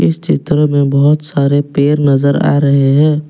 पीछे की तरफ मैं बहुत सारे पेड़ नजर आ रहे हैं।